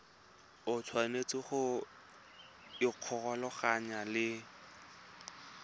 o tshwanetse go ikgolaganya le